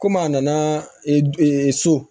Komi a nana so